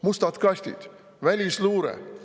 Mustad kastid, välisluure …